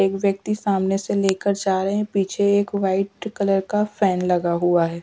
एक व्यक्ति सामने से लेकर जा रहे हैं पीछे एक वाइट कलर का फैन लगा हुआ है।